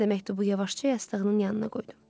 Mən də məktubu yavaşca yastığının yanına qoydum.